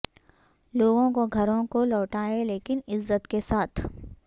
لوگوں کو گھروں کو لوٹائیں لیکن عزت کے ساتھ